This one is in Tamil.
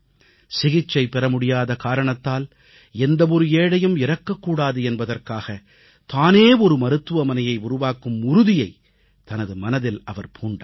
சிகிச்சை பெற முடியாத காரணத்தால் எந்த ஒரு ஏழையும் இறக்கக் கூடாது என்பதற்காக தானே ஒரு மருத்துவமனையை உருவாக்கும் உறுதியைத் தனது மனதில் அவர் பூண்டார்